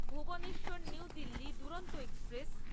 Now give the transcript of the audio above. Bhuvneshwar New Delhi Duronto express